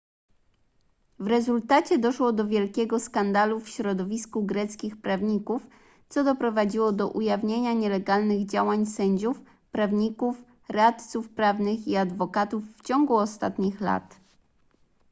w rezultacie doszło do wielkiego skandalu w środowisku greckich prawników co doprowadziło do ujawnienia nielegalnych działań sędziów prawników radców prawnych i adwokatów w ciągu ostatnich lat